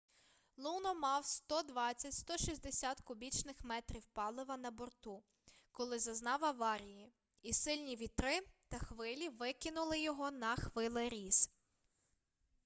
луно мав 120-160 кубічних метрів палива на борту коли зазнав аварії і сильні вітри та хвилі викинули його на хвилеріз